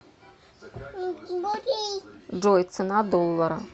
джой цена доллара